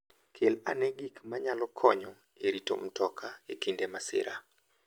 Kel ane gik manyalo konyo e rito mtoka e kinde masira.